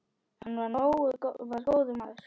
Hann var góður maður.